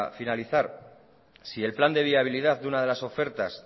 finalizar si el plan de viabilidad de una de las ofertas